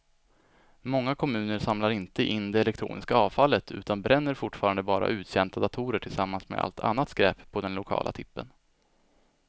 Många kommuner samlar inte in det elektroniska avfallet utan bränner fortfarande bara uttjänta datorer tillsammans med allt annat skräp på den lokala tippen.